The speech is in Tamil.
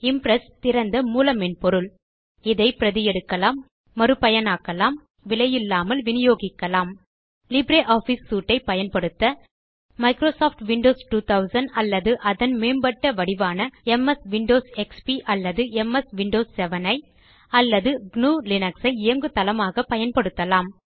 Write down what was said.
இம்ப்ரெஸ் திறந்த மூல மென்பொருள் இதை பிரதி எடுக்கலாம் மறு பயனாக்கலாம் விலையில்லாமல் வினியோகிக்கலாம் லிப்ரியாஃபிஸ் சூட் ஐ பயன்படுத்த மைக்ரோசாஃப்ட் விண்டோஸ் 2000 அல்லது அதன் மேம்பட்ட வடிவான எம்எஸ் விண்டோஸ் எக்ஸ்பி அல்லது எம்எஸ் விண்டோஸ் 7 ஐ அல்லது gnuலினக்ஸ் ஐ இயங்குதளமாக பயன்படுத்தலாம்